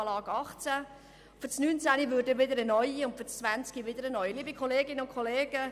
Für das Jahr 2019 und dann auch für das Jahr 2020 würde dann wieder ein neuer Antrag für die Steueranlage gestellt.